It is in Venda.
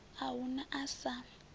a hu na a sa